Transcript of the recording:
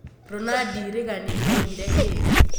Ronandi Regani augire kĩĩ ?